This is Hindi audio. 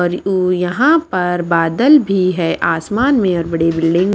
और यहां पर बादल भी है आसमान में और बड़े बिल्डिंग --